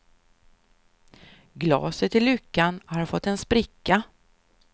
Glaset i luckan har fått en spricka.